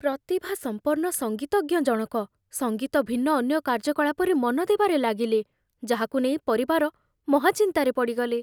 ପ୍ରତିଭାସମ୍ପନ୍ନ ସଙ୍ଗୀତଜ୍ଞ ଜଣକ ସଙ୍ଗୀତ ଭିନ୍ନ ଅନ୍ୟ କାର୍ଯ୍ୟକଳାପରେ ମନ ଦେବାରେ ଲାଗିଲେ, ଯାହାକୁ ନେଇ ପରିବାର ମହାଚିନ୍ତାରେ ପଡ଼ିଗଲେ।